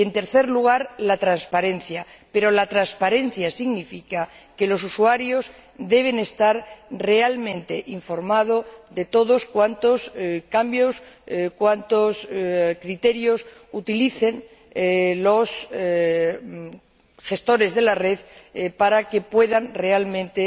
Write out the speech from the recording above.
Y, en tercer lugar, la transparencia. Pero la transparencia significa que los usuarios deben estar realmente informados de todos cuantos criterios utilicen los gestores de la red para que puedan realmente